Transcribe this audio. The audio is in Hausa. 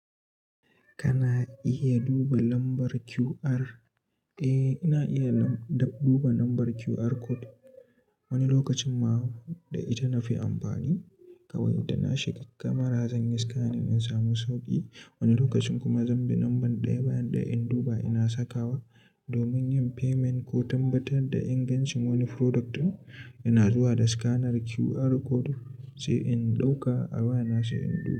Kana iya duba lambar QR? Eh, ina iya lam- duba lambar QR Code. Wani lokacin ma da ita na fi amfani kawai da na shiga kamara zan yi scan in samu sauƙi. Wani lokacin kuma zan bi lambar ɗaya bayan ɗaya in duba ina sakawa. Domin yin payment ko tabbatar da ingancin wani product ɗin, ina zuwa da scanner QR code sai in ɗauka a waya na sai in duba.